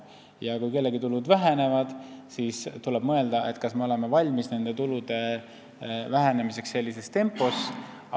Ja kui kellegi tulud vähenevad, siis tuleb mõelda, kas me oleme valmis tulude vähenemiseks sellises tempos.